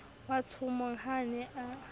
watshomong ha a ne a